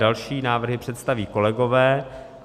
Další návrhy představí kolegové.